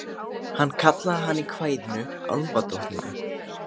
Hann kallaði hana í kvæðinu álfadrottningu.